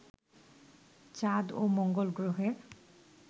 চাঁদ ও মঙ্গল গ্রহের